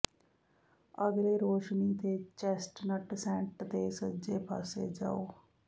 ਅਗਲੇ ਰੌਸ਼ਨੀ ਤੇ ਚੇਸਟਨਟ ਸੇਂਟ ਤੇ ਸੱਜੇ ਪਾਸੇ ਜਾਓ